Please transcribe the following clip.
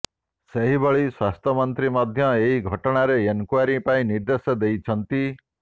ସେହିଭଳି ସ୍ବାସ୍ଥ୍ୟମନ୍ତ୍ରୀ ମଧ୍ୟ ଏହି ଘଟଣାରେ ଏନକ୍ବାରୀ ପାଇଁ ନିର୍ଦେଶ ଦେଇଛନ୍ତି